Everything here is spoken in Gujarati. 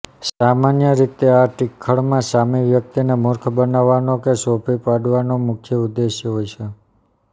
સામાન્ય રીતે આ ટિખળમાં સામી વ્યક્તિને મૂર્ખ બનાવવાનો કે છોભી પાડવાનો મુખ્ય ઉદ્દેશ્ય હોય છે